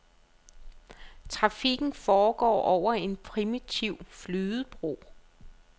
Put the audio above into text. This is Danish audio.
Trafikken foregår over en primitiv flydebro.